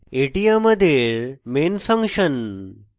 এটি আমাদের main function